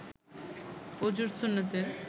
অযুর সুন্নতের